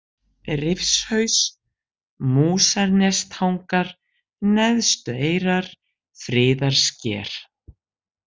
Rifshaus, Músarnestangar, Neðstueyrar, Friðarsker